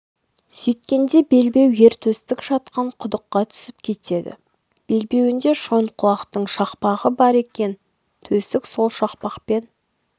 сөйткенде белбеу ер төстік жатқан құдыққа түсіп кетеді белбеуінде шойынқұлақтың шақпағы бар екен төстік сол шақпақпен